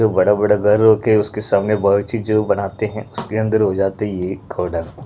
बड़े-बड़े घर हो के उसके सामने बहुत अच्छी जो बनाते हैं उसके अंदर हो जाते है ये एक घोड़ा --